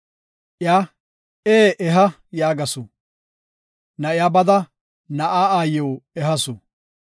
Iya, “Ee, eha” yaagasu. Na7iya bada na7aa aayiw ehasu.